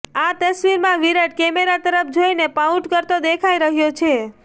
આ તસ્વીરમાં વિરાટ કેમેરા તરફ જોઈને પાઉટ કરતો દેખાઈ રહ્યો છે